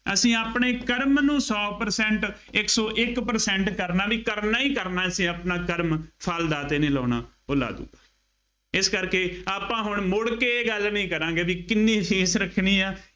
ਅਸੀਂ ਆਪਣੇ ਕਰਮ ਨੂੰ ਸੌ percent ਇੱਕ ਸੌ ਇੱਕ percent ਕਰਨਾ ਬਈ ਕਰਨਾ ਹੀ ਕਰਨਾ ਅਸੀਂ ਆਪਣਾ ਕਰਮ, ਫਲ ਦਾਤੇ ਨੇ ਲਾਉਣਾ ਉਹ ਲਾ ਦੇਊ, ਇਸ ਕਰਕੇ ਆਪਾਂ ਹੁਣ ਮੁੜਕੇ ਇਹ ਗੱਲ ਨਹੀਂ ਕਰਾਂਗੇ ਬਈ ਕਿੰਨੀ fees ਰੱਖਣੀ ਆ।